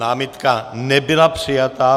Námitka nebyla přijata.